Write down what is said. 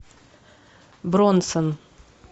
бронсон